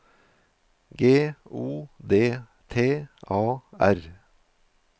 G O D T A R